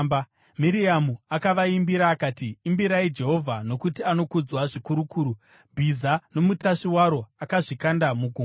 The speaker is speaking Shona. Miriamu akavaimbira akati: “Imbirai Jehovha, nokuti anokudzwa zvikuru kuru. Bhiza nomutasvi waro akazvikanda mugungwa.”